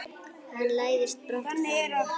Hann læðist brott frá henni.